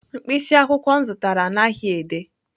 Mkpịsị akwụkwọ m zụtara anaghị ede.